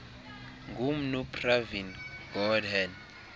ngumnu pravin gordhan